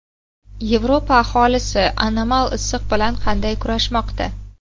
Yevropa aholisi anomal issiq bilan qanday kurashmoqda?